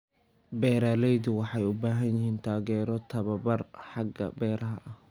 Beeraleydu waxay u baahan yihiin taageero tababar xagga beeraha ah.